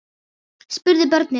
spurðu börnin.